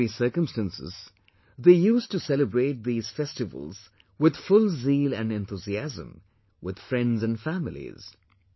In ordinary circumstances they used to celebrate these festivals with full zeal and enthusiasm with friends and families